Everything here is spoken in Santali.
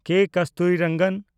ᱠᱮ. ᱠᱚᱥᱛᱩᱨᱤᱨᱚᱝᱜᱚᱱ